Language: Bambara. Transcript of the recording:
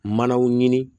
Manaw ɲini